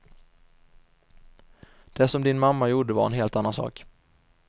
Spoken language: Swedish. Det som din mamma gjorde var en helt annan sak.